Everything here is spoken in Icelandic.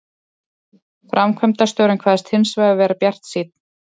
Framkvæmdastjórinn kvaðst hins vegar vera bjartsýnn